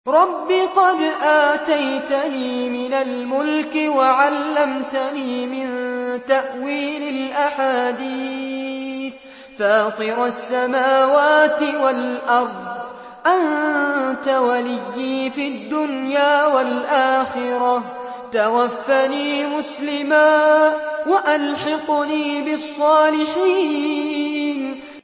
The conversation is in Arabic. ۞ رَبِّ قَدْ آتَيْتَنِي مِنَ الْمُلْكِ وَعَلَّمْتَنِي مِن تَأْوِيلِ الْأَحَادِيثِ ۚ فَاطِرَ السَّمَاوَاتِ وَالْأَرْضِ أَنتَ وَلِيِّي فِي الدُّنْيَا وَالْآخِرَةِ ۖ تَوَفَّنِي مُسْلِمًا وَأَلْحِقْنِي بِالصَّالِحِينَ